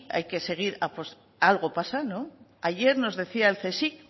algo pasa ayer nos decía el csic